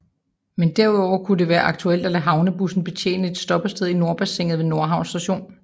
Men derudover kunne det være aktuelt at lade havnebusser betjene et stoppested i Nordbassinet ved Nordhavn Station